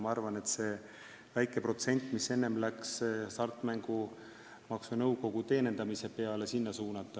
Ma arvan, et on õige samm see väike protsent, mis enne läks Hasartmängumaksu Nõukogu teenindamise peale, sinna suunata.